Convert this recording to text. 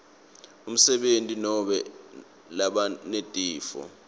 emsebentini nobe labanetifo